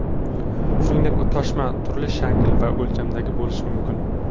Shuningdek, toshma turli shakl va o‘lchamda bo‘lishi mumkin.